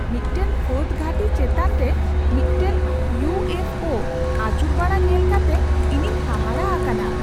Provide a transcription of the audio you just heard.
ᱢᱤᱫᱴᱟᱝ ᱯᱷᱟᱹᱫᱽ ᱜᱷᱟᱹᱴᱤ ᱪᱮᱛᱟᱱ ᱨᱮ ᱢᱤᱫᱴᱟᱝ ᱤᱭᱩ ᱮᱯᱷ ᱳ ᱟᱹᱪᱩᱨᱵᱟᱲᱟ ᱧᱮᱞ ᱠᱟᱛᱮ ᱤᱧᱤᱧ ᱦᱟᱦᱟᱲᱟᱜ ᱟᱠᱟᱱᱟ ᱾